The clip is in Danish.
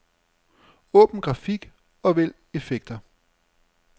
Åbn grafik og vælg effekter.